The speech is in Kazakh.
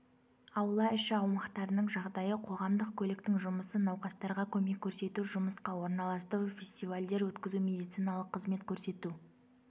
аула іші аумақтарының жағдайы қоғамдық көліктің жұмысы науқастарға көмек көрсету жұмысқа орналастыру фестивальдер өткізу медициналық қызмет көрсету